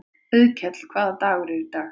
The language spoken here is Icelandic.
Auðkell, hvaða dagur er í dag?